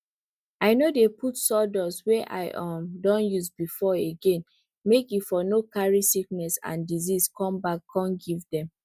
i no dey put sawdust wey i um don use before again make e for no carry sickness and disease come back come give dem